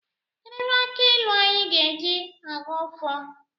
Kedụ ebe aki ịlụ anyị ga-eji Aghọ ọfọ?